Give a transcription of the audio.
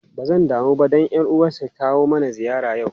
Ba zan damu ba dan uwanta ys kawo mana ziyara yau.